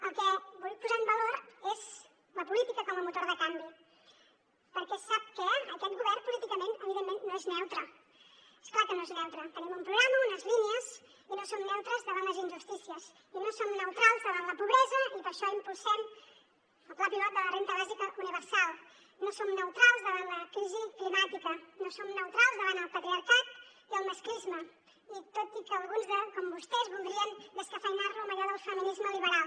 el que vull posar en valor és la política com a motor de canvi perquè sap què aquest govern políticament evidentment no és neutre és clar que no és neutre tenim un programa unes línies i no som neutres davant les injustícies i no som neutrals davant la pobresa i per això impulsem el pla pilot de la renda bàsica universal no som neutrals davant la crisi climàtica no som neutrals davant el patriarcat i el masclisme i tot i que alguns com vostès voldrien descafeïnar lo amb allò del feminisme liberal